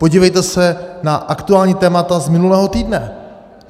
Podívejte se na aktuální témata z minulého týdne!